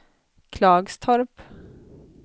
Klagstorp